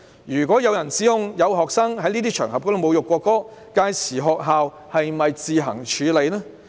如果有人指控有學生在這些場合侮辱國歌，屆時學校是否可以自行處理？